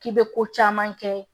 K'i bɛ ko caman kɛ